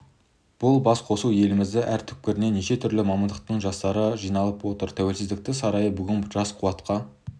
бұл басқосуға еліміздің әр түкпірінен неше түрлі мамандықтың жастары жиналып отыр тәуелсіздік сарайы бүгін жас қуатқа